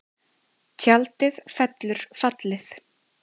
Tjaldið fellur fallið